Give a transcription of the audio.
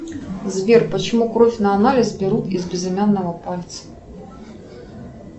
сбер почему кровь на анализ берут из безымянного пальца